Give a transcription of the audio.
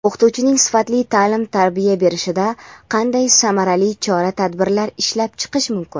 o‘qituvchining sifatli ta’lim-tarbiya berishida qanday samarali chora-tadbirlar ishlab chiqish mumkin?.